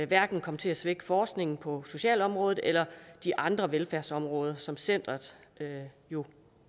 hverken komme til at svække forskningen på socialområdet eller de andre velfærdsområder som centeret jo